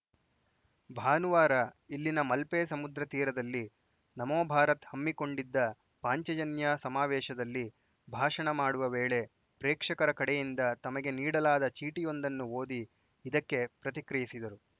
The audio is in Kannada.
ಭಾನುವಾರ ಇಲ್ಲಿನ ಮಲ್ಪೆ ಸಮುದ್ರ ತೀರದಲ್ಲಿ ನಮೋ ಭಾರತ್‌ ಹಮ್ಮಿಕೊಂಡಿದ್ದ ಪಾಂಚಜನ್ಯ ಸಮಾವೇಶದಲ್ಲಿ ಭಾಷಣ ಮಾಡುವ ವೇಳೆ ಪ್ರೇಕ್ಷಕರ ಕಡೆಯಿಂದ ತಮಗೆ ನೀಡಲಾದ ಚೀಟಿಯೊಂದನ್ನು ಓದಿ ಇದಕ್ಕೆ ಪ್ರತಿಕ್ರಿಯಿಸಿದರು